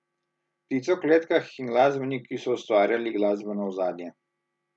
Ptice v kletkah in glasbeniki so ustvarjali glasbeno ozadje.